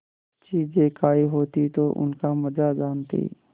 चीजें खायी होती तो उनका मजा जानतीं